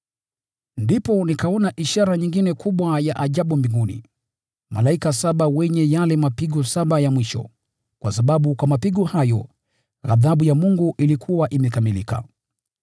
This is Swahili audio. Ndipo nikaona ishara nyingine kubwa ya ajabu mbinguni: malaika saba wenye yale mapigo saba ya mwisho, kwa sababu kwa mapigo hayo ghadhabu ya Mungu ilikuwa imekamilika.